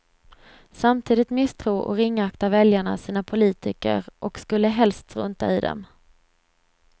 Samtidigt misstror och ringaktar väljarna sina politiker och skulle helst strunta i dem.